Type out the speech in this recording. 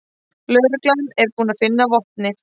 Lögreglan er búin að finna vopnið